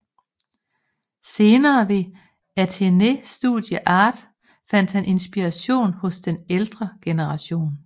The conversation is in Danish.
Senere ved Athénée Studio Art fandt han inspiration hos den ældre generation